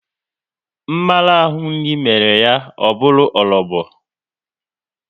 Mmarahu nri mere ya o bụru orobo